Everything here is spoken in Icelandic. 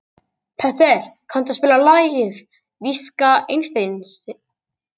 Petter, kanntu að spila lagið „Viska Einsteins“?